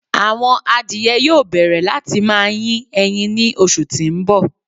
Awọn àdìẹ̀ yóò bẹ̀rẹ̀ láti má yín èyín ní òṣù tí n bọ̀.